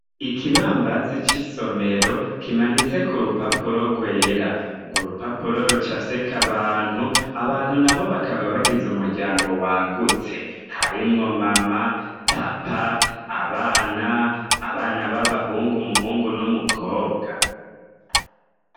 ikibambazi c'isomero kimanitse ku rupapuro rwera urwo rupapuro rucafyeko abantu abantu na bo bakaba bagiza umuryango wagutse harimwo mama papa abana abana b'abahungu muhungu n'umukobwa